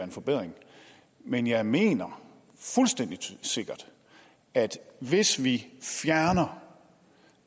en forbedring men jeg mener fuldstændig sikkert at hvis vi fjerner